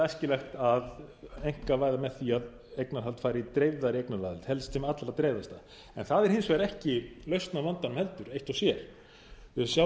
æskilegt að einkavæða með því að eignarhald færi í dreifðari eignaraðild helst sem allra dreifðasta það er hins vegar ekki lausn á vandanum heldur eitt og sér við sjáum til dæmis